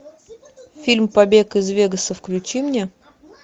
фильм побег из вегаса включи мне